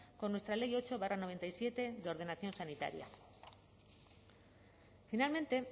con nuestra ley ocho barra noventa y siete de ordenación sanitaria finalmente